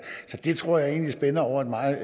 så det tror jeg egentlig spænder over et meget